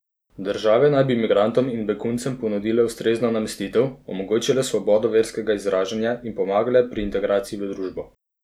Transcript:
Države naj bi migrantom in beguncem ponudile ustrezno namestitev, omogočile svobodo verskega izražanja in pomagale pri integraciji v družbo.